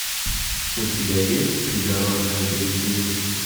у тебя есть придорожное заведение